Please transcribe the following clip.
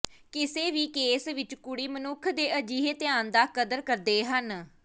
ਕਿਸੇ ਵੀ ਕੇਸ ਵਿੱਚ ਕੁੜੀ ਮਨੁੱਖ ਦੇ ਅਜਿਹੇ ਧਿਆਨ ਦਾ ਕਦਰ ਕਰਦੇ ਹਨ